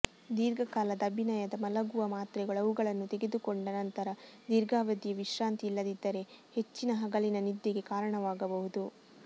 ದೀರ್ಘಕಾಲದ ಅಭಿನಯದ ಮಲಗುವ ಮಾತ್ರೆಗಳು ಅವುಗಳನ್ನು ತೆಗೆದುಕೊಂಡ ನಂತರ ದೀರ್ಘಾವಧಿಯ ವಿಶ್ರಾಂತಿ ಇಲ್ಲದಿದ್ದರೆ ಹೆಚ್ಚಿನ ಹಗಲಿನ ನಿದ್ದೆಗೆ ಕಾರಣವಾಗಬಹುದು